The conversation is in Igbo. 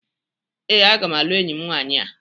Ee, aga m alụ enyi m nwaanyị a.